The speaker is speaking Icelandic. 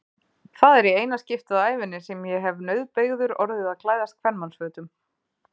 Það er í eina skiptið á ævinni sem ég hef nauðbeygður orðið að klæðast kvenmannsfötum.